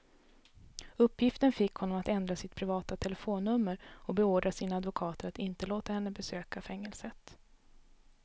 Uppgiften fick honom att ändra sitt privata telefonnummer och beordra sina advokater att inte låta henne besöka fängelset.